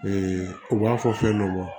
u b'a fɔ fɛn dɔ ma